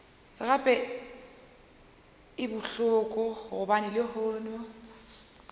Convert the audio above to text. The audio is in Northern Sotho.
gape e bohloko gobane lehono